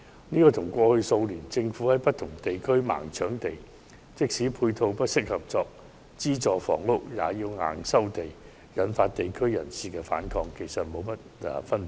這與政府過去數年在不同地區"盲搶地"，即使配套不適合用作興建資助房屋，也硬要收地，引發地區人士反抗的情況，沒有多大分別。